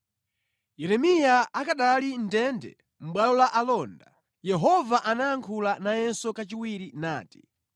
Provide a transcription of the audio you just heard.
Yeremiya akanali mʼndende mʼbwalo la alonda, Yehova anayankhula nayenso kachiwiri nati: